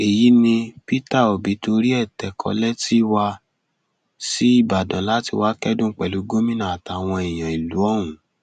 èyí ni peter obi torí ẹ tẹkọ lẹtì wá sí ìbàdàn láti wáá kẹdùn pẹlú gómìnà àtàwọn èèyàn ìlú ọhún